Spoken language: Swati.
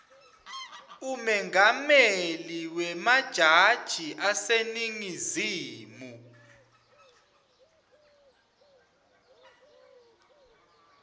umengameli wemajaji aseningizimu